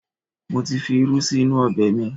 Mo ti fi irú sí inú ọbẹ̀ mi